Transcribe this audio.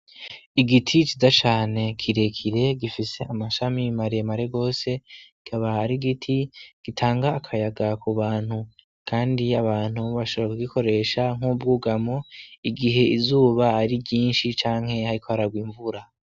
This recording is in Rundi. Igiti ciza cane kirekire gifise amashami maremare gose, akaba ar'igiti gitanga akayaga ku bantu. Kandi abantu bashobora kugikoresha nk'ubwugamo, igihe izuba ari ryinshi canke hariko hararwa imvura.